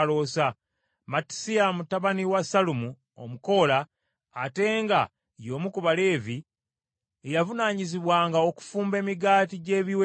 Mattisiya mutabani wa Sallumu Omukoola, ate nga y’omu ku Baleevi, ye yavunaanyizibwanga okufumba emigaati gy’ebiweebwayo,